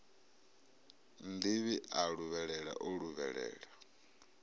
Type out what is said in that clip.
nnḓivhi a luvhelela o luvhelela